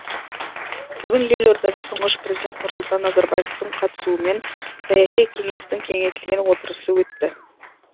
бүгін елордада тұңғыш президент нұрсұлтан назарбаевтың қатысуымен саяси кеңестің кеңейтілген отырысы өтті